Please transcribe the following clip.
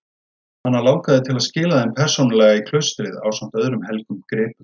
Hana langaði til að skila þeim persónulega í klaustrið ásamt öðrum helgum gripum.